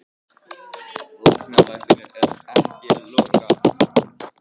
Læknavaktin ekki að loka